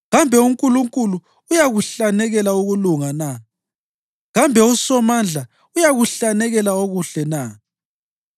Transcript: Kambe uNkulunkulu uyakuhlanekela ukulunga na? Kambe uSomandla uyakuhlanekela okuhle na?